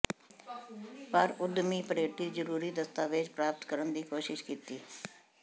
ਪਰ ਉਦਮੀ ਪਰੈਟੀ ਜ਼ਰੂਰੀ ਦਸਤਾਵੇਜ਼ ਪ੍ਰਾਪਤ ਕਰਨ ਦੀ ਕੋਸ਼ਿਸ ਕੀਤੀ